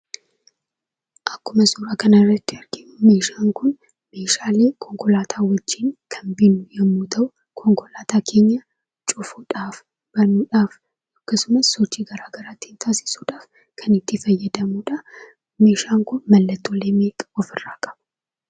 Akkuma suuraa kanarratti arginu meeshaan kun meeshaalee konkolaataa waliin kan bitnu yommuu ta'u konkolaataa keenya cufuudhaaf banuudhaaf akkasumas sochii garagaraa ittii taasisuudhaaf kanitti fayyadamnudha. Meeshaan kun mallattoolee meeqa ofirraa qaba?